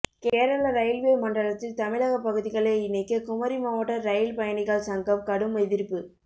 Kerala railway மண்டலத்தில் தமிழக பகுதிகளை இணைக்க குமரி மாவட்ட ரயில் பயணிகள் சங்கம் கடும் எதிர்ப்பு